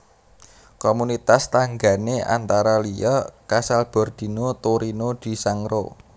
Komunitas tanggané antara liya Casalbordino Torino di Sangro